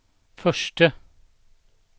förste